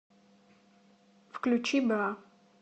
включи бра